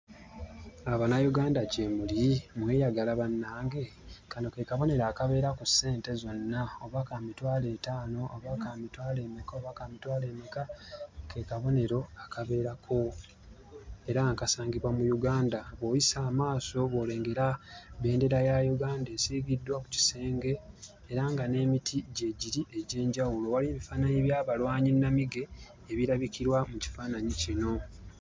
Abanayuganda gye muli? Mweyagala bannange? Kano ke kabonero akabeera ku ssente zonna oba ka mitwalo etaano, oba ka mitwalo emeka oba ka mitwalo emeka; ke kabonero akabeerako era nga kasangibwa mu Uganda. Bw'oyisa amaaso bw'olengera bendera ya Uganda esiigiddwa ku kisenge era nga n'emiti gyegiri egy'enjawulo, waliyo ebifaananyi by'abalwanyi nnamige ebirabikirwa mu kifaananyi kino.